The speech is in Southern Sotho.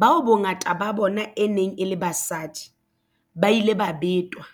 bao bongata ba bona e neng e le basadi, ba ile ba betwa.